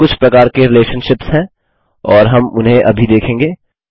यहाँ कुछ प्रकार के रिलेशनशिप्स हैं और हम उन्हें अभी देखेंगे